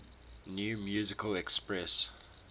new musical express